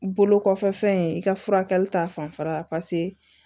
Bolo kɔfɛ fɛn in i ka furakɛli ta fanfɛla la